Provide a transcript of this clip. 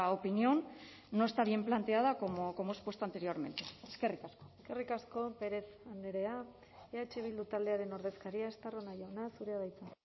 opinión no está bien planteada como he expuesto anteriormente eskerrik asko eskerrik asko pérez andrea eh bildu taldearen ordezkaria estarrona jauna zurea da hitza